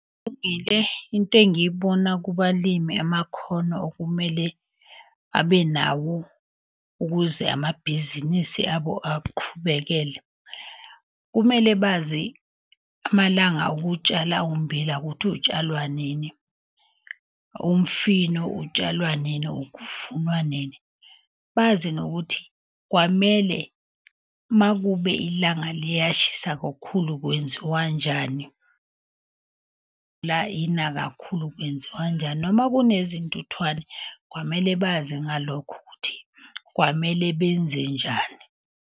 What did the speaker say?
Into engiyibona kubalimi amakhono okumele abe nawo ukuze amabhizinisi abo aqhubekele. Kumele bazi amalanga okutshala ummbila ukuthi utshalwa nini, umfino utshalwa nini, kuvunwa nini. Bazi nokuthi kwamele makube ilanga liyashisa kakhulu kwenziwa njani, la ina kakhulu kwenziwa njani. Noma kunezintuthwane kwamele bazi ngalokho ukuthi kwamele benze njani.